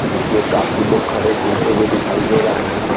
इसमें काफी लोग खड़े घूमते हुए दिखाई दे रहे हैं।